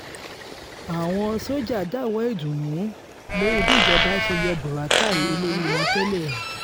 àwọn sójà dáwọ̀ọ́ ìdùnnú lórí bíjọba ṣe yọ buratai olórí wọn tẹ́lẹ̀